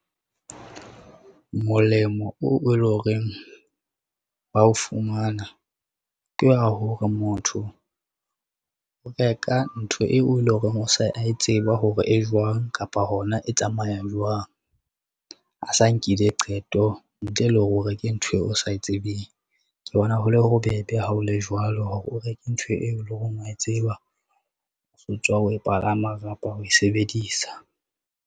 Molemo oo e leng horeng ba o fumana, ke wa hore motho o reka ntho eo e leng hore o se a tseba hore e jwang kapa hona e tsamaya jwang. A sa nkile qeto ntle le hore o reke ntho eo o sa e tsebeng. Ke bona hole bobebe ha o le jwalo, hore o reke ntho eo e leng horeng wa e tseba o tswa ho e palama kapa ho e sebedisa..